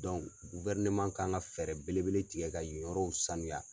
kan ka fɛɛrɛ bele bele tigɛ ka yen yɔrɔw sanuya.